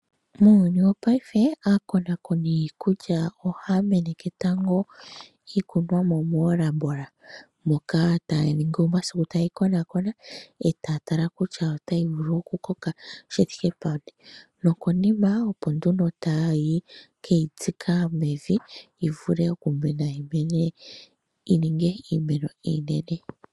Muuyuuni wopaife aakonakoni yiikulya ohaya meneke tango iikunomwa moolabola moka taya ningi omasiku taye yi konaakona e taya tala kutya otayi vulu okukoka shi thike peni nokonima opo nduno taye ke yi tsika mevi yi vule okumena yi mene yi ningi iimeno iinene.